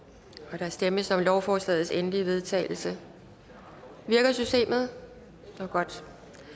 og der stemmes om lovforslagets endelige vedtagelse virker systemet det var godt